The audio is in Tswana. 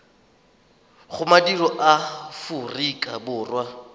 go madirelo a aforika borwa